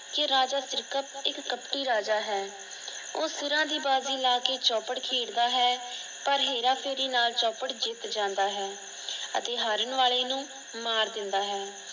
ਕਿ ਰਾਜਾ ਸਿਰਕਤ ਇੱਕ ਕਪਟੀ ਰਾਜਾ ਹੈ। ਉਹ ਸਿਰਾਂ ਦੀ ਬਾਜ਼ੀ ਲਾਕੇ ਚੌਪੜ ਖੇਡ ਦਾ ਹੈ। ਪਰ ਹੇਰਾ ਫ਼ੇਰੀ ਨਾਲ ਚੌਪੜ ਜਿਤ ਜਾਂਦਾ ਹੈ ਅਤੇ ਹਾਰਨ ਵਾਲੇ ਨੂੰ ਮਾਰ ਦਿੰਦਾ ਹੈ।